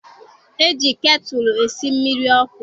E ji ketulu esi mmiri ọkụ.